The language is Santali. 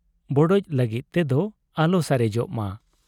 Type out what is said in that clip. ᱵᱚᱰᱚᱡ ᱞᱟᱹᱜᱤᱫ ᱛᱮᱫᱚ ᱟᱞᱚ ᱥᱟᱨᱮᱡᱚᱜ ᱢᱟ ᱾